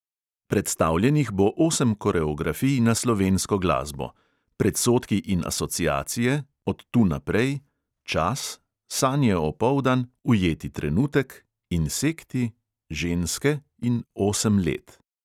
Predstavljenih bo osem koreografij na slovensko glasbo: predsodki in asociacije, od tu naprej, čas, sanje opoldan, ujeti trenutek, insekti, ženske in osem let.